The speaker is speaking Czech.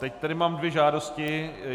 Teď tady mám dvě žádosti.